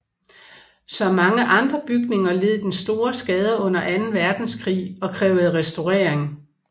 Som mange andre bygninger led den store skader under Anden Verdenskrig og krævede restaurering